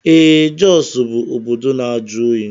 Ee Jọs bụ obodo na-ajụ oyi.